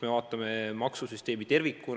Me vaatame maksusüsteemi tervikuna.